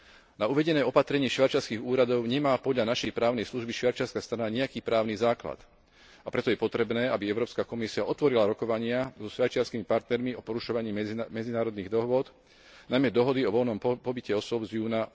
Na uvedené opatrenie švajčiarskych úradov nemá podľa našej právnej služby švajčiarska strana nijaký právny základ, a preto je potrebné, aby Európska komisia otvorila rokovania so švajčiarskymi partnermi o porušovaní medzinárodných dohôd, najmä dohody o voľnom pohybe osôb z júna